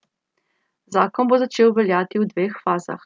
Zakon bo začel veljati v dveh fazah.